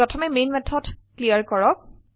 প্ৰথমে main method clear কৰো